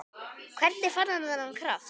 Hvernig fann hann þennan kraft?